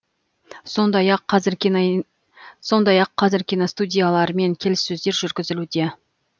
сондай ақ қазір киностудиялармен келіссөздер жүргізілуде